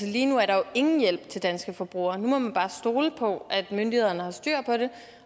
lige nu er der jo ingen hjælp til danske forbrugere nu må man bare stole på at myndighederne har styr på det